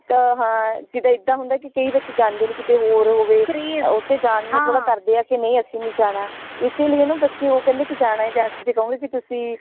ਇੱਕ ਹਾਂ ਜਿਦਾ ਇਦਾ ਹੁੰਦਾ ਹੈ ਕਿ ਕਈ ਬੱਚੇ ਜਾਂਦੇ ਨੇ ਕਿ ਕੀਤੇ ਹੋਰ ਹੋਵੇ ਓਥੇ ਜਾਣ ਨੂ ਥੋੜਾ ਕਰਦੇ ਹੈ ਕਿ ਨੀ ਅਸੀਂ ਨਈ ਜਾਣਾ ਇਸੀ ਲਈ ਨਾ ਬੱਚੇ ਉਹ ਕਹਿੰਦੇ ਕੀ ਜਾਣਾ ਹੈ ਜੇ ਕਹੋਗੇ ਕੀ ਤੁਸੀਂ